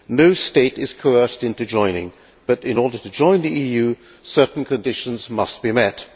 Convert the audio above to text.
No state is coerced into joining, but, in order to join the EU, certain conditions must be met.